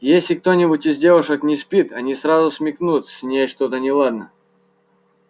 если кто-нибудь из девушек не спит они сразу смекнут с ней что-то неладно